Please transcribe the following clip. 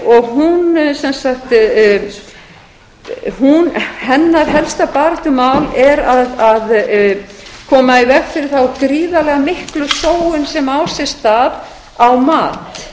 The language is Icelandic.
og hennar helsta baráttumál er að koma í veg fyrir þá gríðarlega miklu sóun sem á sér stað á mat